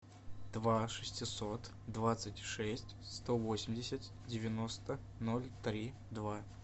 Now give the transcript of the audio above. два шестьсот двадцать шесть сто восемьдесят девяносто ноль три два